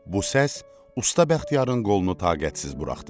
Bu səs usta Bəxtiyarın qolunu taqətsiz buraxdı.